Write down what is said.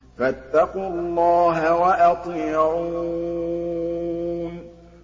فَاتَّقُوا اللَّهَ وَأَطِيعُونِ